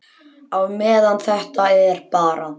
Á meðan þetta er bara.